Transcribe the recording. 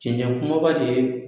Cɛncɛn kumaba de ye